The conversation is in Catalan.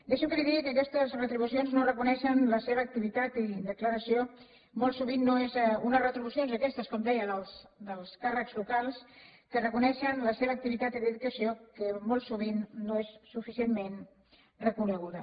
deixi’m que li digui que aquestes retribucions no reconeixen la seva activitat i dedicació molt sovint no són unes retribucions aquestes com deia dels càrrecs locals que reconeixen la seva activitat i dedicació que molt sovint no és suficientment reconeguda